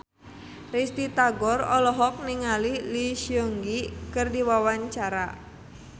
Risty Tagor olohok ningali Lee Seung Gi keur diwawancara